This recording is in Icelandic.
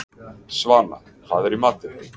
Svana, hvað er í matinn?